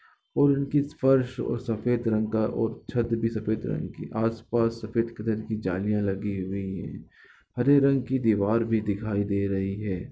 और उनकी फर्श और सफेद रंग का और छत भी सफेद रंग की आसपास सफेद कलर की जालियां लगी हुई है हरे रंग की दीवार भी दिखाई दे रही है।